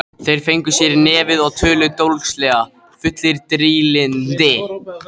Þeir fengu sér í nefið og töluðu dólgslega, fullir drýldni.